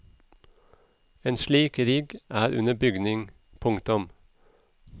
En slik rigg er under bygging. punktum